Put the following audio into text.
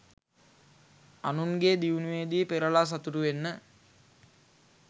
අනුන්ගේ දියුණුවේදී පෙරළා සතුටු වෙන්න.